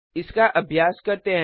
इसका अभ्यास करते हैं